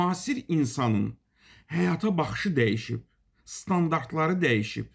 Müasir insanın həyata baxışı dəyişib, standartları dəyişib.